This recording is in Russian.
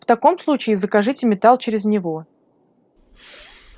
в таком случае закажите металл через него